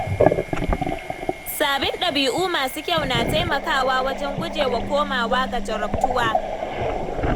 Sabin ɗabi’u masu kyau na taimakawa wajen gujewa komawa ga jarabtuwa.